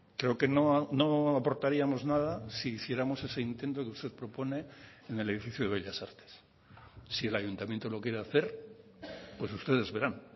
creo que no aportaríamos nada si hiciéramos ese intento que usted propone en el edificio de bellas artes si el ayuntamiento lo quiere hacer pues ustedes verán